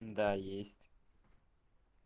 да есть